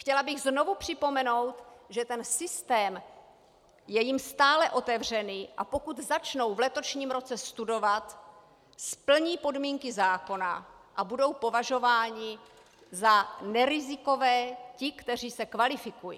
Chtěla bych znovu připomenout, že ten systém je jim stále otevřený, a pokud začnou v letošním roce studovat, splní podmínky zákona a budou považováni za nerizikové, ti, kteří se kvalifikují.